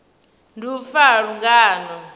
ndi u fa ha lungano